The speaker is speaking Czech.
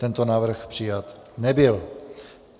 Tento návrh přijat nebyl.